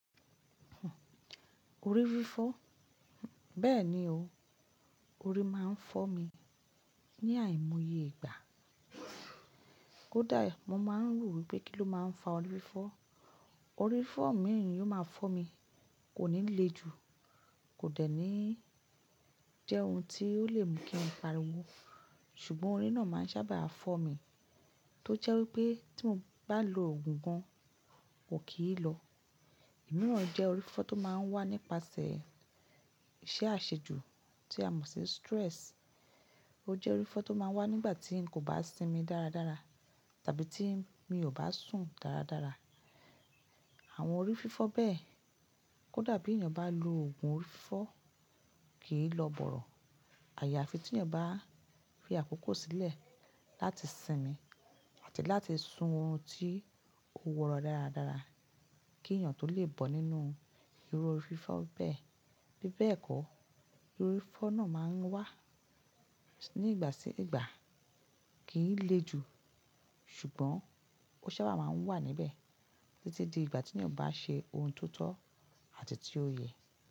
Orí fífọ́. Bẹ́ẹ̀ ni o, orí máa ń fọ́ mi ní àìmoye ìgbà. Kódà mo máa ń rò wípé kí ló máa ń fa orí fífọ́. Orí fífọ́ mi ò máa fọ́ mi kò ní le ju, kò dẹ̀ ní jẹ́ ohun tí ó lè mú kí n pariwo. Ṣùgbọ́n orí náà máa ń sábà fọ́ mi, tó jẹ́ wípé tí mo bá lo ògùn gan, kò kì í lọ. Omiran jẹ́ orí fífọ́ tó máa ń wá nípasẹ̀ ìṣe àṣejù tí a mọ̀ sí stress. Ó jẹ́ orí fífọ́ tó máa ń wá nígbà tí n kò bá sinmi dáradára tàbí tí mi ò bá sùn dáradára. Àwọn orí fífọ́ bẹ́ẹ̀ kódà bí èèyàn bá lo ògùn orí fífọ́ kì í lọ bọ̀rọ̀. Àya fi tí èèyàn bá fi àkókò sílẹ̀ láti sinmi àti láti sun orun tí ó wọ́rọ́ dáradára kí èèyàn tó lè bọ́ nínú irú orí fífọ́ bẹ́ẹ̀. Bí bẹ́ẹ̀ kọ́, orí fífọ́ náà máa ń wà nígbà sí ìgbà kì í le ju. Ṣùgbọ́n ó sábà máa ń wà níbẹ̀ títí di ìgbà tí èèyàn bá ṣe ohun tó tọ́ àti tí ó yẹ.